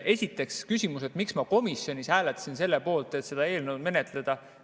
Esiteks küsimus, miks ma komisjonis hääletasin selle poolt, et seda eelnõu menetleda.